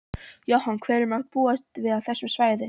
Jóhann: Hverju má búast við á þessu svæði?